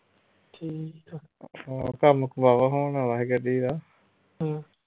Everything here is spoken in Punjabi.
ਆਹ ਕੰਮ ਵਾਹਵਾ ਹੋਣ ਵਾਲਾ ਹੀ ਗੱਡੀ ਦਾ